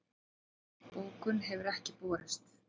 Bókun hefur ekki borist